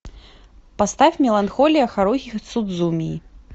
поставь меланхолия харухи судзумии